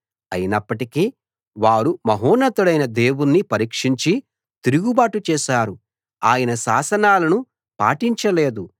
అయినప్పటికీ వారు మహోన్నతుడైన దేవుణ్ణి పరీక్షించి తిరుగుబాటు చేశారు ఆయన శాసనాలను పాటించలేదు